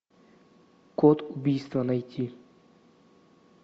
код убийства найти